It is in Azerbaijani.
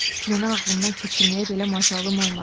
Fikrini ağlımdan keçirməyə belə macalım olmadı.